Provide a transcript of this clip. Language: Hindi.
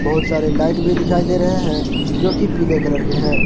बहुत सारे लाइट भी दिखाई दे रहे हैं जो की पीले कलर के हैं।